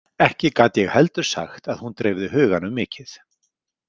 Ekki gat ég heldur sagt að hún dreifði huganum mikið.